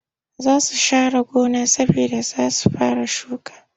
Za su share gona saboda za su fara shuka